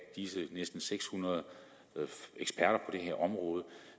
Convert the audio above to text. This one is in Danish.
disse næsten seks hundrede eksperter på her område